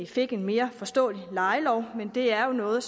fik en mere forståelig lejelov men det er jo noget